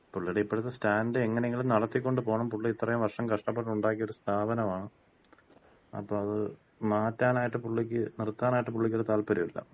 പുള്ളിടെ ഇപ്പഴത്തെ സ്റ്റാൻഡ്, എങ്ങനെയെങ്കിലും നടത്തിക്കൊണ്ട് പോണം. പുള്ളി ഇത്രയും വർഷം കഷ്ടപ്പെട്ടൊണ്ടാക്കിയ ഒര് സ്ഥാപനമാണ്. അപ്പൊ അത് മാറ്റാനായിട്ട് പുള്ളിക്ക് നിർത്താനായിട്ട് പുള്ളിക്കൊര് താല്പര്യല്ല.